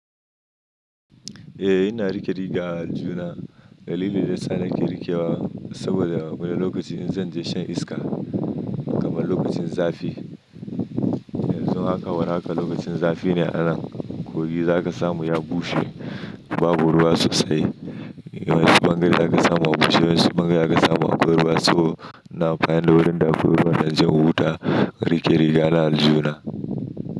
Eh, ina riƙe riga aljihu na. Dalilin da yasa nake riƙewa saboda wani lokaci in zan je shan iska kamar lokacin zafi. Yanzu haka war haka lokacin zafi ne a nan. Kogi za ka samu ya bushe babu ruwa sosai. Wani bangare za ka samu akwai bushe, wasu bangaren za ka samu akwai ruwa. So ina amfani da wurin da akwai ruwa don inje in huta, in riƙe rigaba a aljihu na.